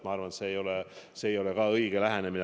Ma arvan, et see ei ole ka õige lähenemine.